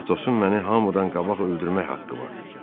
Atosun məni hamıdan qabaq öldürmək haqqı var.